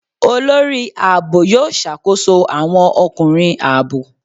Olórí ààbò yóò ṣàkóso àwọn ọkùnrin ààbò.